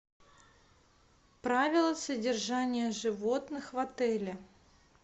правила содержания животных в отеле